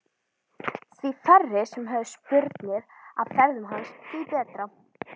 Því færri sem höfðu spurnir af ferðum hans því betra.